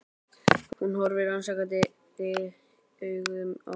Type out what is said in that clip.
Hún horfir rannsakandi augum á hana.